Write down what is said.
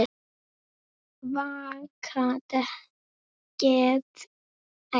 Vaka getur átt við um